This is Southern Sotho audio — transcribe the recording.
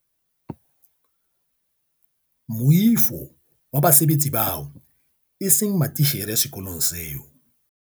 Moifo wa basebetsi bao eseng matitjhere sekolong seo.